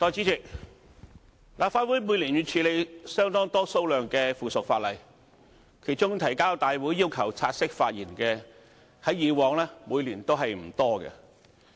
代理主席，立法會每年要處理相當多數量的附屬法例，其中提交大會要求本會察悉並讓議員發言的，在以往每年均不多。